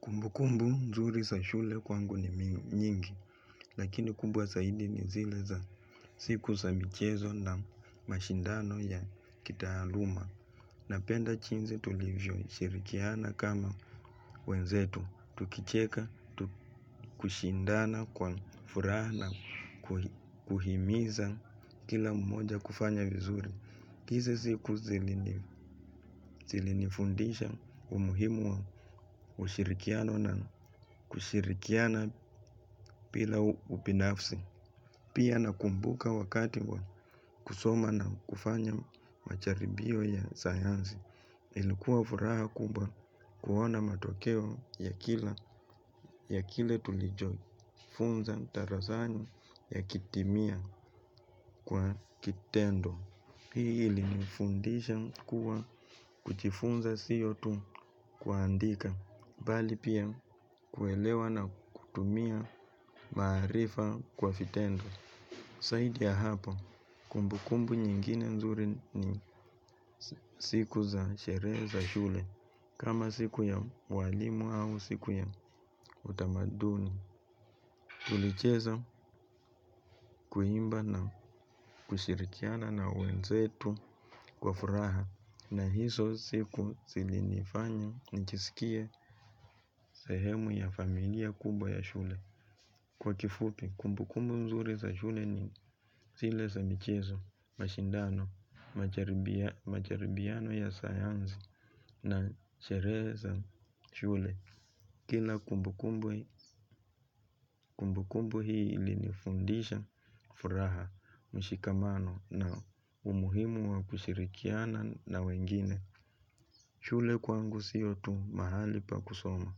Kumbu kumbu mzuri sa shule kwangu ni mingi, lakini kumbuwa saidi ni zile za siku sa michezo na mashindano ya kitaaluma. Napenda jinsi tulivyoshirikiana kama wenzetu, tukicheka, kushindana kwa furaha na, kuhimiza kila mmoja kufanya vizuri. Hizo siku zilinifundisha umuhimu wa ushirikiano na kushirikiana bila ubinafsi. Pia nakumbuka wakati wa kusoma na kufanya majaribio ya sayansi. Ilikuwa furaha kubwa kuona matokeo ya kila ya kile tulicho. Funza darasani yakitimia kwa kitendo. Hii ilinifundisha kuwa kujifunza siyo tu kuandika, bali pia kuelewa na kutumia maarifa kwa vitendo. Zaidi ya hapo, kumbu kumbu nyingine nzuri ni siku za sherehe za shule, kama siku ya walimu au siku ya utamaduni. Tulicheza kuimba na kushirikiana na wenzetu kwa furaha na hizo siku zilinifanya nijisikie sehemu ya familia kubwa ya shule. Kwa kifupi kumbu kumbu nzuri za shule ni zile za michezo mashindano, majaribiano ya sayansi na sherehe za shule. Kila kumbukumbu hii ilinifundisha, furaha, mshikamano na umuhimu wa kushirikiana na wengine. Shule kwangu siyo tu mahali pa kusoma.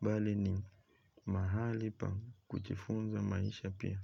Bali ni mahali pa kujifunza maisha pia.